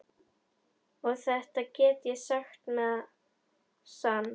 Og þetta get ég sagt með sann.